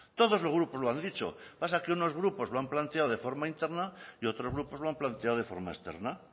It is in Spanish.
todos los grupos lo han dicho lo que pasa es que unos grupos lo han planteado de forma interna y otros grupos lo han planteado de forma externa